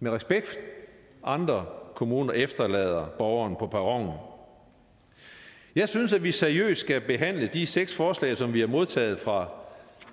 med respekt andre kommuner efterlader borgeren på perronen jeg synes at vi seriøst skal behandle de seks forslag som vi har modtaget fra